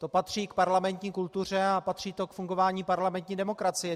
To patří k parlamentní kultuře a patří to k fungování parlamentní demokracie.